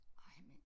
Ej mand